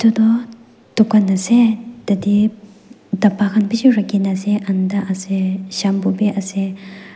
toh dukan ase tatae dapa khan bishi rakhina ase anda ase shampoo bi ase.